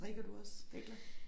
Strikker du også hækler